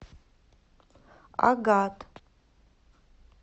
агат